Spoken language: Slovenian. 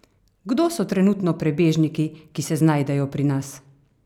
Kdo so trenutno prebežniki, ki se znajdejo pri nas?